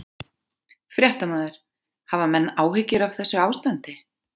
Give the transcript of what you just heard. Fréttamaður: Hafa menn áhyggjur af þessu ástandi?